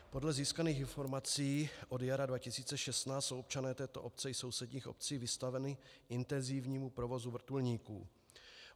Podle získaných informací od jara 2016 jsou občané této obce i sousedních obcí vystaveni intenzivnímu provozu vrtulníků.